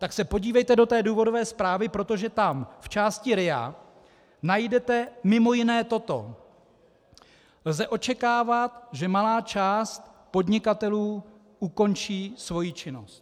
Tak se podívejte do té důvodové zprávy, protože tam v části RIA najdete mimo jiné toto: Lze očekávat, že malá část podnikatelů ukončí svoji činnost.